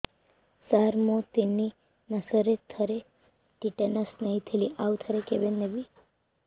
ସାର ମୁଁ ତିନି ମାସରେ ଥରେ ଟିଟାନସ ନେଇଥିଲି ଆଉ ଥରେ କେବେ ନେବି